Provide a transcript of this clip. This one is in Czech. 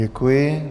Děkuji.